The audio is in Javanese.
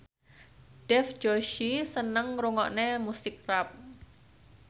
Dev Joshi seneng ngrungokne musik rap